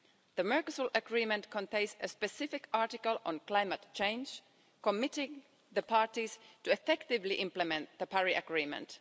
The Mercosur Agreement contains a specific article on climate change committing the parties to effectively implement the Paris Agreement.